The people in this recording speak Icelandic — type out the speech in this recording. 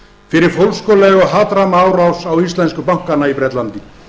fyrir fólskulega og hatramma árás á íslensku bankana í bretlandi